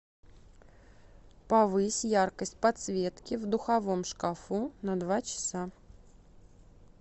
повысь яркость подсветки в духовом шкафу на два часа